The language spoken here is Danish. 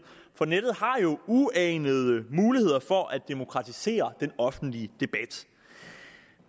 for nettet har jo uanede muligheder for at demokratisere den offentlige debat